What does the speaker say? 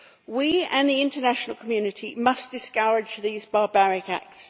We and the international community must discourage these barbaric acts.